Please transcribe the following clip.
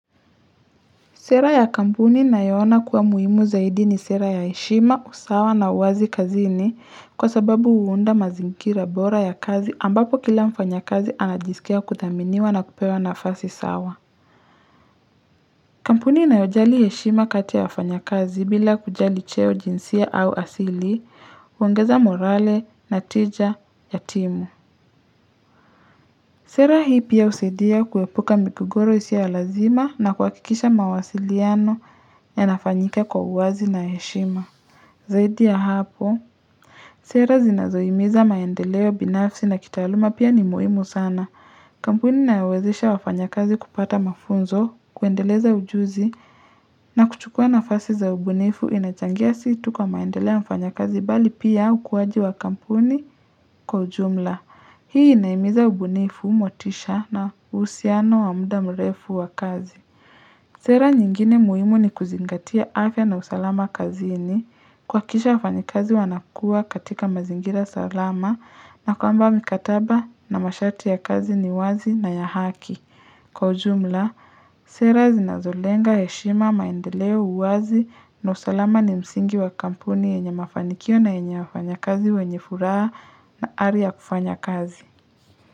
Sera ya kampuni na yoona kuwa muhimu zaidi ni sera ya heshima, usawa na uwazi kazini kwa sababu huunda mazingira bora ya kazi ambapo kila mfanya kazi anajisikia kudhaminiwa na kupewa na fasi sawa. Kampuni ina yojali heshima kati ya wafanyakazi bila kujali cheo jinsia au asili, huoangeza morale, natija, yatimu. Sera hii pia husaidia kuepuka migogoro isiyo ya lazima na kuhakikisha mawasiliano ya nafanyika kwa uwazi na heshima. Zaidi ya hapo, sera zinazohimiza maendeleo binafsi na kitaaluma pia ni muhimu sana. Kampuni inayowezesha wafanya kazi kupata mafunzo, kuendeleza ujuzi, na kuchukua na fasi za ubunifu inachangia situ kwa maendeleo mfanya kazi bali pia ukuaji wa kampuni kwa ujumla. Hii inahimiza ubunifu motisha na uhusiano wamuda mrefu wa kazi. Sera nyingine muhimu ni kuzingatia afya na usalama kazi ini. Kuhaki kisha wafanyi kazi wanakua katika mazingira salama na kwamba mikataba na masharti ya kazi ni wazi na ya haki. Kwa ujumla, sera zinazolenga heshima maendeleo uwazi na usalama ni msingi wa kampuni yenye mafanikio na yenye wafanya kazi wenye furaha na ariyaa kufanya kazi.